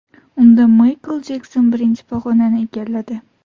Unda Maykl Jekson birinchi pog‘onani egalladi.